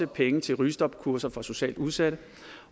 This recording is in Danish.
penge til rygestopkurser for socialt udsatte